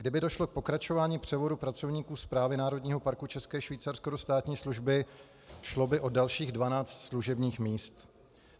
Kdyby došlo k pokračování převodu pracovníků Správy Národního parku České Švýcarsko do státní služby, šlo by o dalších 12 služebních míst.